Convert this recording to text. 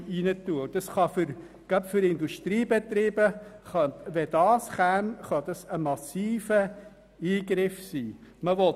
Sollte dieser Punkt angenommen werden, könnte dieser gerade für Industriebetriebe massive Auswirkungen haben.